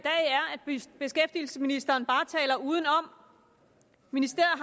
beskæftigelsesministeren bare taler udenom ministeriet